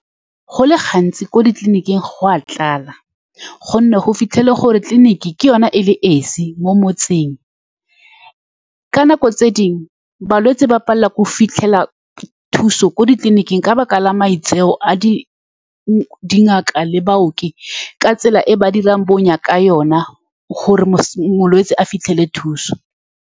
Go le gantsi, ko ditleliniking go a tlala ka gonne go fitlhela gore tleliniking ke yone e le esi mo motseng. Ka nako tse dingwe, balwetse ba palelwa ke go fitlhelela thuso ko ditleliniking ka lebaka la maitseo a dingaka le baoki, ka tsela e ba dirang bonya ka yone, gore molwetsi a fitlhelele thuso.